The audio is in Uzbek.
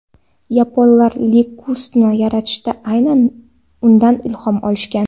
Yaponlar Lexus’ni yaratishda aynan undan ilhom olishgan.